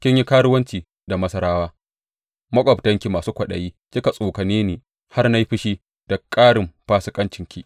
Kin yi karuwanci da Masarawa, maƙwabtanki masu kwaɗayi, kika tsokane ni har na yi fushi da ƙarin fasikancinki.